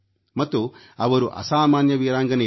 ಮತ್ತು ಅವರು ಅಸಾಮಾನ್ಯ ವೀರಾಂಗನೆಯರು